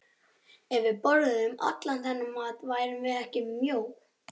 Ef við borðuðum allan þennan mat værum við ekki mjó.